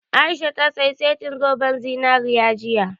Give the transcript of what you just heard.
A'isha ta saya setin zoben zinari jiya